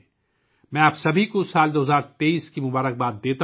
میں آپ سب کو سال 2023 ء کے لیے نیک خواہشات پیش کرتا ہوں